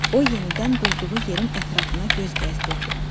O yenidən durduğu yerin ətrafına göz gəzdirdi.